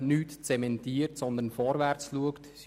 Sie zementiert nichts, sondern schaut nach vorne.